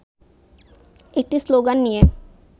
একটি শ্লোগান নিয়ে